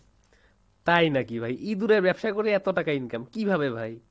তাই নাকি ভাই, ইঁদুরের ব্যবসা করে এতো টাকা income, কিভাবে ভাই ?